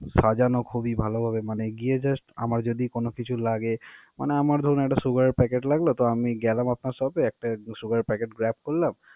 সাজানো খুবই ভালোভাবে মানে গিয়ে just আমার যদি কোনো কিছু লাগে, মানে আমার ধরুন একটা sugar এর packet লাগলো তো আমি গেলাম আপনার shop এ, একটা sugar এর packet grab করলাম।